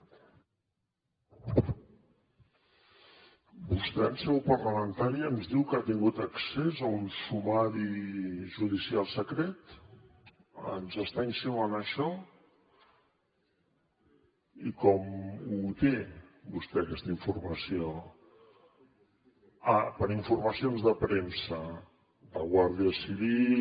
vostè en seu parlamentària ens diu que ha tingut accés a un sumari judicial secret ens està insinuant això i com la té vostè aquesta informació ah per informacions de premsa de guàrdia civil